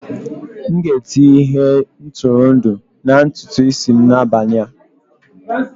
M ga-etinye ihe ntụrụndụ na ntutu isi m n'abalị a